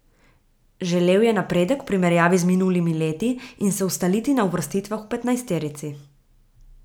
Želel je napredek v primerjavi z minulimi leti in se ustaliti na uvrstitvah v petnajsterici.